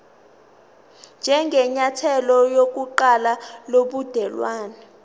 njengenyathelo lokuqala lobudelwane